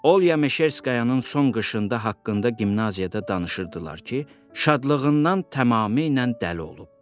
Olya Meşerskayanın son qışında haqqında gimnaziyada danışırdılar ki, şadlığından tamamilə dəli olub.